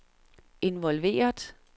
involveret